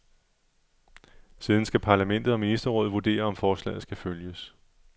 Siden skal parlamentet og ministerrådet vurdere, om forslaget skal følges.